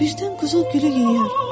Birdən quzu gülü yeyər.